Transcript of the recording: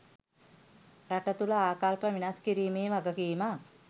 රට තුළ ආකල්ප වෙනස් කිරීමේ වගකීමක්